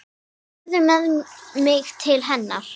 Farðu með mig til hennar.